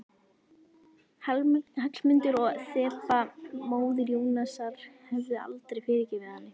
Hallmundur og Þeba, móðir Jónasar, hefðu aldrei fyrirgefið henni.